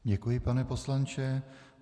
Děkuji, pane poslanče.